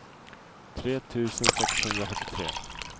tre tusen sexhundrafyrtiotre